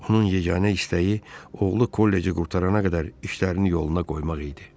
Onun yeganə istəyi oğlu kolleci qurtarana qədər işlərini yoluna qoymaq idi.